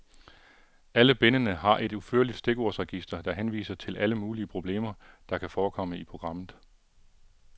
Alle bindene har et udførligt stikordsregister, der henviser til alle mulige problemer, der kan forekomme i programmet.